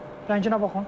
Rənginə baxın.